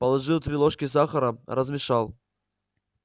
положил три ложки сахара размешал